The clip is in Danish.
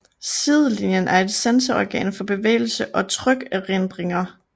Sidelinjen er et sanseorgan for bevægelse og trykændringer